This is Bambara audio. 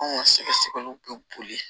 Anw ka sɛgɛsɛgɛliw bɛ boli